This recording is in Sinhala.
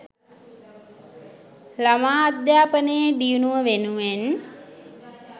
ළමා අධ්‍යාපනයේ දියුණුව වෙනුවෙන්